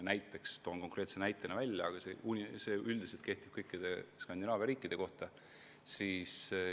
Toon näiteks Taani, aga üldiselt kehtib see kõikide Skandinaavia riikide kohta.